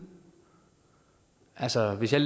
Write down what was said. altså hvis jeg